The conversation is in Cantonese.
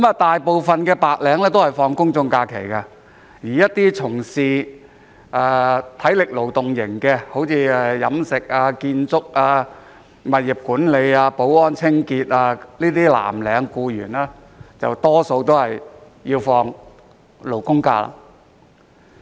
大部分白領都享有公眾假期，而從事體力勞動工作，例如飲食、建築、物業管理、保安、清潔工作的藍領僱員，大多享有"勞工假"。